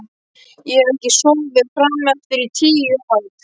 Ég hef ekki sofið frameftir í tíu ár.